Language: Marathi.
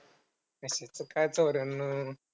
कशाचं काय चौऱ्यान्नव